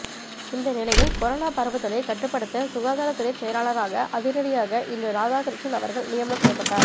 இந்த நிலையில் கொரோனா பரவுதலை கட்டுப்படுத்த சுகாதாரத் துறைச் செயலாளராக அதிரடியாக இன்று ராதாகிருஷ்ணன் அவர்கள் நியமனம் செய்யப்பட்டார்